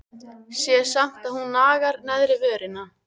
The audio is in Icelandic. Sé samt að hún nagar neðri vörina.